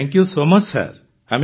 thank you so much sir